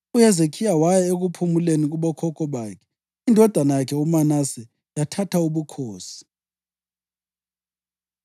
UHezekhiya waya ekuphumuleni kubokhokho bakhe. Indodana yakhe uManase yathatha ubukhosi.